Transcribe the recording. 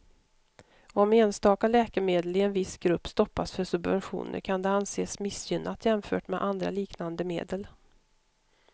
Om enstaka läkemedel i en viss grupp stoppas för subventioner kan det anses missgynnat jämfört med andra liknande medel.